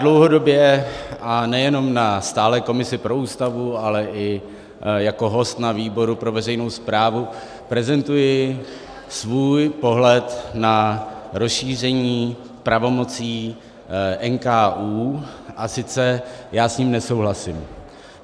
Dlouhodobě, a nejenom na stálé komisi pro Ústavu, ale i jako host na výboru pro veřejnou správu prezentuji svůj pohled na rozšíření pravomocí NKÚ - a sice já s ním nesouhlasím.